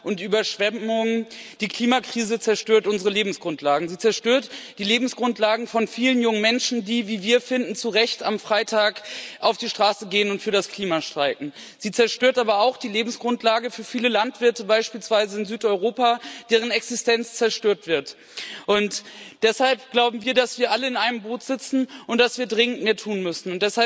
Frau Präsidentin! Waldbrände, Orkane und Überschwemmungen die Klimakrise zerstört unsere Lebensgrundlagen. Sie zerstört die Lebensgrundlagen von vielen jungen Menschen, die, wie wir finden, zu Recht am Freitag auf die Straße gehen und für das Klima streiken. Sie zerstört aber auch die Lebensgrundlage für viele Landwirte beispielsweise in Südeuropa deren Existenz zerstört wird. Und deshalb glauben wir, dass wir alle in einem Boot sitzen und dass wir dringend mehr tun müssen.